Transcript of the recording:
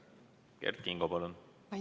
Kert Kingo, palun!